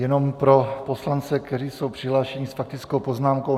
Jenom pro poslance, kteří jsou přihlášeni s faktickou poznámkou.